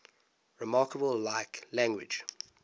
remarkably like language